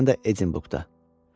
Xüsusən də Edinburqda.